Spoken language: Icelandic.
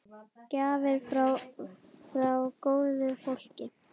Gjafir frá góðu fólki.